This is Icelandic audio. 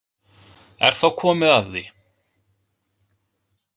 Er þá komið að því?